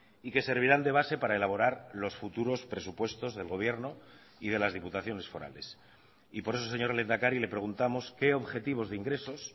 y que servirán de base para elaborar los futuros presupuestos del gobierno y de las diputaciones forales y por eso señor lehendakari le preguntamos qué objetivos de ingresos